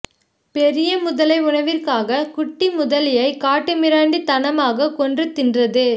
பெரிய முதலை உணவிற்காக குட்டி முதலையை காட்டுமிராண்டித்தனமாக கொன்று தின்றது